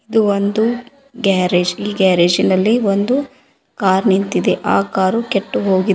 ಇದು ಒಂದು ಗ್ಯಾರೇಜ್ ಈ ಗ್ಯಾರೇಜಿ ನಲ್ಲಿ ಒಂದು ಕಾರ್ ನಿಂತಿದೆ ಆ ಕಾರು ಕೆಟ್ಟು ಹೋಗಿದೆ ಮತ್--